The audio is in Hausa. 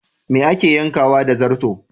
Me ake yankawa da zarto?